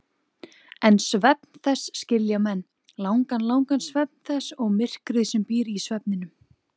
En svefn þess skilja menn, langan, langan svefn þess og myrkrið sem býr í svefninum.